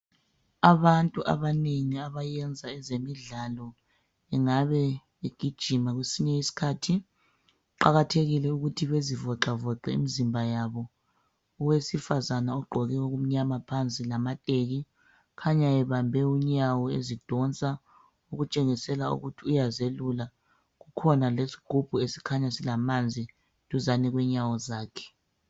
Abantu abanengi abayenza ezemidlalo engabe egijima kwesinye isikhathi, kuqakathekile ukuthi bezivoxavoxe imizimba yabo. Owesifazana ogqoke okumnyama phansi lamateki ukhanya ebambe unyawo ezidonsa okutshengisela ukuthi uyazelula. Kukhona lesigubhu esikhanya silamanzi duzane kwenyawo zakhe.